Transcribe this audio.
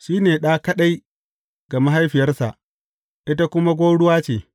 Shi ne ɗa kaɗai ga mahaifiyarsa, ita kuma gwauruwa ce.